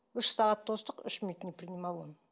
үш сағат тостық үш минут не принимал он